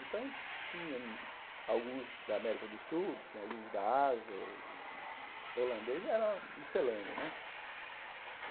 Então, tinha alguns da América do Sul, tinha alguns da Ásia, e holandês era miscelânea né.